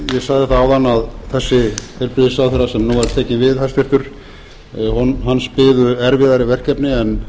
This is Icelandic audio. áðan að þessi hæstvirtur heilbrigðisráðherra sem nú er tekinn við hans bíður erfiðara verkefni en